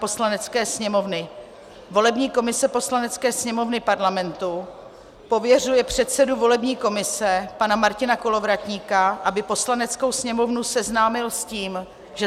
Poslanecké sněmovny volební komise Poslanecké sněmovny Parlamentu pověřuje předsedu volební komise pana Martina Kolovratníka, aby Poslaneckou sněmovnu seznámil s tím, že